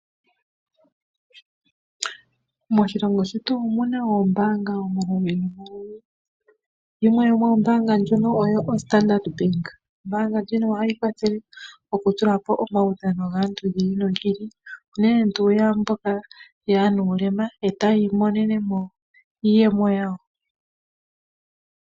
Moshilongo shetu omuna oombaanga omaludhi nomaludhi. Yimwe yomoombaanga dhika oyo oStandard bank. Ombaanga ndjino ohayi kwathele oku tula po omaudhano gaantu gi ili nogi ili. Unene tuu ya mboka yaanuulema e taya imonene mo iiyemo yawo.